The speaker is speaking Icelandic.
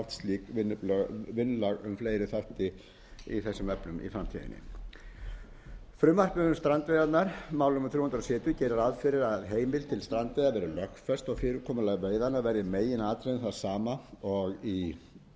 við fleiri þætti í þessum efnum í framtíðinni frumvarpið um strandveiðarnar mál númer þrjú hundruð sjötíu gerir ráð fyrir að heimild til strandveiða verði lögfest og fyrirkomulag veiðanna verði í meginatriðum það sama og í